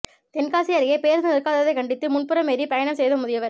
தென்காசி அருகே பேருந்து நிற்காததை கண்டித்து முன்புறம் ஏறி பயணம் செய்த முதியவர்